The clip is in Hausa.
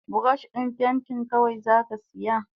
Burosh din pentin kawai zaka siya?